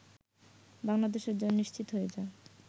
বাংলাদেশের জয় নিশ্চিত হয়ে যায়